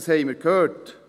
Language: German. Das haben wir gehört.